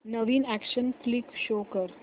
नवीन action flick show कर